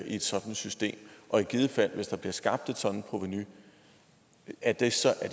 i et sådant system og i givet fald hvis der bliver skabt et sådant provenu er det så